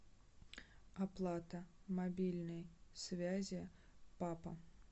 оплата мобильной связи папа